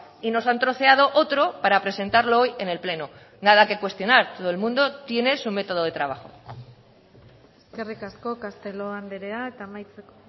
y nos han troceado otro para presentarlo hoy en el pleno nada que cuestionar todo el mundo tiene su método de trabajo eskerrik asko castelo andrea eta amaitzeko